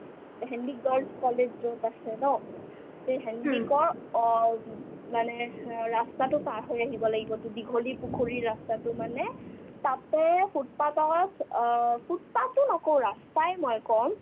Handique girls' college য'ত আছে ন তে হেণ্ডিকৰ অ ওব মানে হ ৰাস্তাতো পাৰ হৈ আহিব লাগিব to দীঘলীপুখুৰীৰ ৰাস্তাতো মানে তাতে foot path ত অ foot path ও নকও ৰাস্তায়ে মই ক'ম